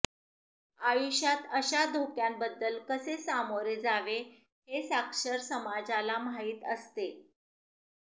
आयुष्यात अशा धोक्यांबद्दल कसे सामोरे जावे हे साक्षर समाजाला माहीत असते